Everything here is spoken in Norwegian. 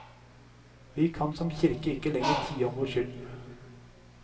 Vi kan som kirke ikke lenger tie om vår skyld.